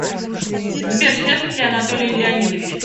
сбер счастлив ли анатолий леонидович